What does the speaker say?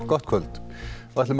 gott kvöld við ætlum